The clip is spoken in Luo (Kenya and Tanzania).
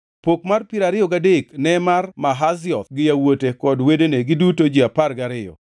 Pok mar piero ariyo gadek ne mar Mahazioth gi yawuote kod wedene, giduto ji apar gariyo,